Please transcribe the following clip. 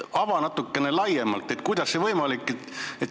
Ava natukene laiemalt, kuidas see võimalik on!